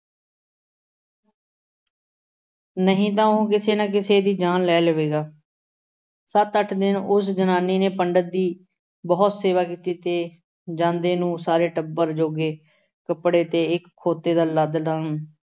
ਨਹੀਂ ਤਾਂ ਉਹ ਕਿਸੇ ਨਾ ਕਿਸੇ ਦੀ ਜਾਨ ਲੈ ਲਵੇਗਾ। ਸੱਤ ਅੱਠ ਦਿਨ ਉਸ ਜਨਾਨੀ ਨੇ ਪੰਡਿਤ ਦੀ ਬਹੁਤ ਸੇਵਾ ਕੀਤੀ ਤੇ ਜਾਂਦੇ ਨੂੰ ਸਾਰੇ ਟੱਬਰ ਜੋਗੇ ਕੱਪੜੇ ਕੇ ਇੱਕ ਖੋਤੇ ਦਾ